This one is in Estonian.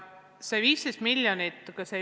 See summa on 15 miljonit.